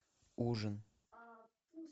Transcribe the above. ужин